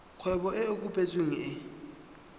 kgwebo e e kopetsweng e